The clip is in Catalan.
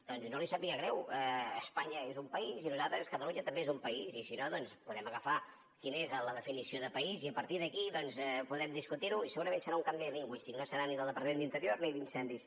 doncs no li sàpiga greu espanya és un país i nosaltres catalunya també és un país i si no doncs podem agafar quina és la definició de país i a partir d’aquí podrem discutirho i segurament serà un canvi lingüístic no serà ni del departament d’interior ni d’incendis